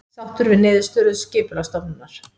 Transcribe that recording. Sáttur við niðurstöðu Skipulagsstofnunar